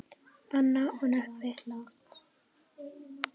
Anna og Nökkvi.